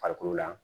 Farikolo la